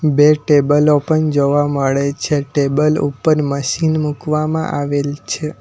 બે ટેબલો પન જોવા મળે છે ટેબલ ઉપર મશીન મૂકવામાં આવેલ છે.